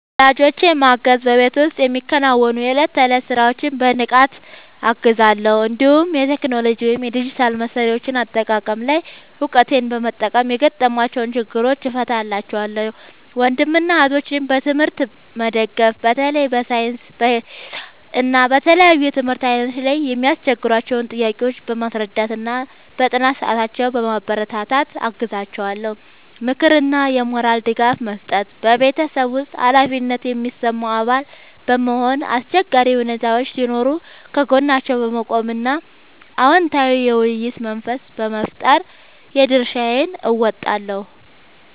ወላጆቼን ማገዝ በቤት ውስጥ የሚከናወኑ የዕለት ተዕለት ሥራዎችን በንቃት እገዛለሁ፤ እንዲሁም የቴክኖሎጂ ወይም የዲጂታል መሣሪያዎች አጠቃቀም ላይ እውቀቴን በመጠቀም የገጠሟቸውን ችግሮች እፈታላቸዋለሁ። ወንድምና እህቶቼን በትምህርት መደገፍ በተለይ በሳይንስ፣ በሂሳብ እና በተለያዩ የትምህርት ዓይነቶች ላይ የሚያስቸግሯቸውን ጥያቄዎች በማስረዳትና በጥናት ሰዓታቸው በማበረታታት አግዛቸዋለሁ። ምክርና የሞራል ድጋፍ መስጠት በቤተሰብ ውስጥ ኃላፊነት የሚሰማው አባል በመሆን፣ አስቸጋሪ ሁኔታዎች ሲኖሩ ከጎናቸው በመቆም እና አዎንታዊ የውይይት መንፈስ በመፍጠር የድርሻዬን እወጣለሁ።